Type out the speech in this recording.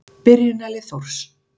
Byrjunarlið Þórs.